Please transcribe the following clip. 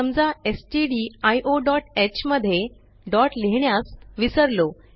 समजा stdioह मध्ये डॉट लिहिण्यास विसरलो